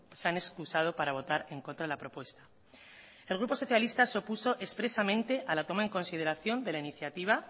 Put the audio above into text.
se han excusado para votar en contra de la propuesta el grupo socialista se opuso expresamente a la toma en consideración de la iniciativa